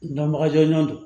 Dɔnbaga jɔnjɔn don